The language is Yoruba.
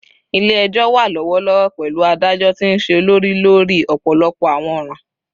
Ile-ẹjọ wa lọwọlọwọ, pẹlu adajọ ti nṣe olori lori ọpọlọpọ awọn ọran